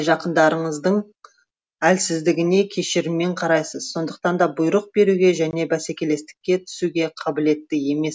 жақындарыңыздың әлсіздігіне кешіріммен қарайсыз сондықтан да бұйрық беруге және бәсекелестікке түсуге қабілетті емес